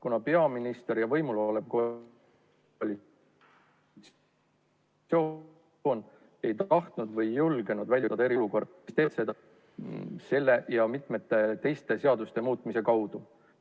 Kuna peaminister ja võimul olev koalitsioon ei tahtnud või ei julgenud väljuda eriolukorrast, tehti seda selle ja mitme teise seaduse muutmise kaudu.